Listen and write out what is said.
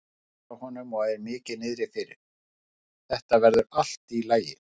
Hann hvíslar að honum og er mikið niðri fyrir: Þetta verður allt í lagi.